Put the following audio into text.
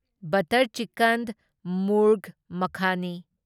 butter chicken ꯃꯨꯔꯚ ꯃꯈꯥꯅꯤ